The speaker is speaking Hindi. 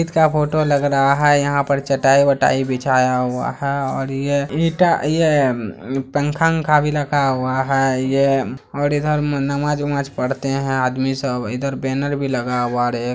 ईद का फोटो लग रहा है यहाँ पर चटाई बटाई बिछाया हुआ है और यह ईंटा यह पंखा बंखा भी लगा हुआ है यह और इधर नमाज बमाज पढ़ते है आदमी सब इधर बैनर भी लगा हुआ रे।